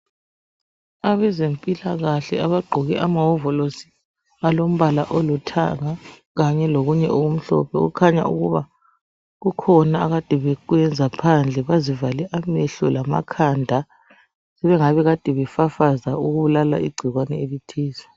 Abazempilakahle abagqoke amawovolosi alombola olithanga kanye lokunye okumhlophe kukhanya ukuba kukhona akade bekwenza phandle. Bazivale amehlo lamakhanda kungani kade befafaza ukubulala ingcikwane elithize